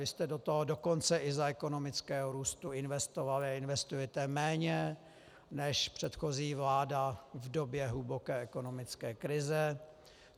Vy jste do toho dokonce i za ekonomického růstu investovali a investujete méně než předchozí vláda v době hluboké ekonomické krize.